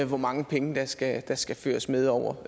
hvor mange penge der skal der skal føres med over